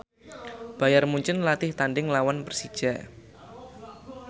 Bayern Munchen latih tandhing nglawan Persija